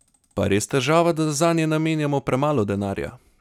Pa je res težava, da zanje namenjamo premalo denarja?